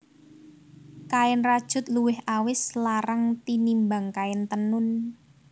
Kain rajut luwih awis larang tinimbang kain tenun